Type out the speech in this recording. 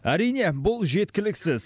әрине бұл жеткіліксіз